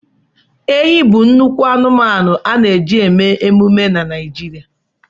Ehi bụ nnukwu anụmanụ a na-eji eme emume na Naịjirịa.